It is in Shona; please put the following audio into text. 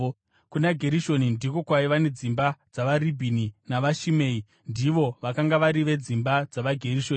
Kuna Gerishoni ndiko kwaiva nedzimba dzavaRibhini navaShimei; ndivo vakanga vari vedzimba dzavaGerishoni.